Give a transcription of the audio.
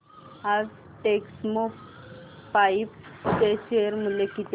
आज टेक्स्मोपाइप्स चे शेअर मूल्य किती आहे